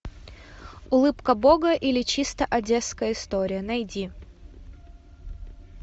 улыбка бога или чисто одесская история найди